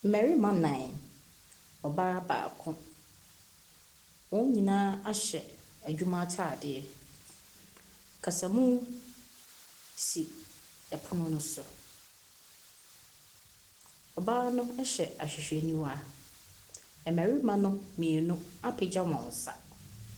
Mmarima nnan, ɔbaa baako, wɔn nyinaa ahyɛ adwuma atadeɛ. Kasamu si pono no so. Ɔbaa no hyɛ ahwehwɛniwa. Mmarima no mmienu apagya wɔn nsa.